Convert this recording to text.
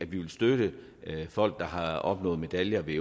vi vil støtte folk der har opnået medaljer ved